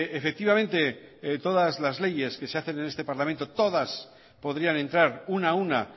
efectivamente todas las leyes que se hacen en este parlamento podrían entrar una a una